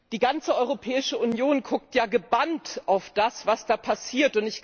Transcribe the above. Die ganze Europäische Union guckt ja gebannt auf das, was da passiert.